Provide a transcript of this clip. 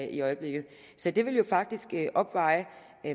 i øjeblikket så det vil jo faktisk opveje